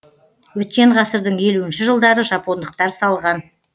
өткен ғасырдың елуінші жылдары жапондықтар салған